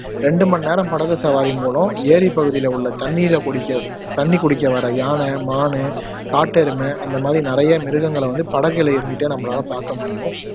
ரெண்டுமன்னேரம் படகு சவாரியின் மூலம் ஏரிப்பகுதில உள்ள தண்ணீர குடிக்க தண்ணி குடிக்க வர்ற யானை, மானு, காட்டெருமை அந்த மாதிரி நிறையா மிருகங்களை வந்து படகுல இருந்துட்டே நம்பலால பாக்க முடியும்